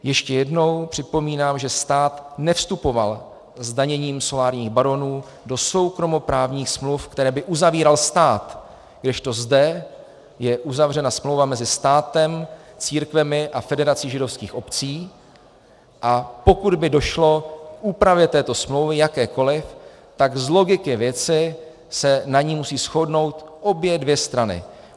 Ještě jednou připomínám, že stát nevstupoval zdaněním solárních baronů do soukromoprávních smluv, které by uzavíral stát, kdežto zde je uzavřena smlouva mezi státem, církvemi a Federací židovských obcí, a pokud by došlo k úpravě této smlouvy, jakékoliv, tak z logiky věci se na ní musí shodnout obě dvě strany.